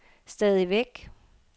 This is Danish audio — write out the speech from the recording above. stadigvæk